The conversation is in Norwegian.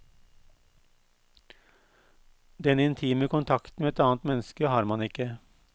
Den intime kontakten med et annet menneske har man ikke.